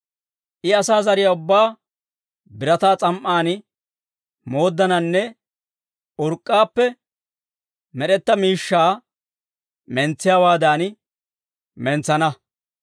«I asaa zariyaa ubbaa birataa s'am"aan mooddananne, urk'k'aappe med'etaa miishshaa mentsiyaawaadan mentsana.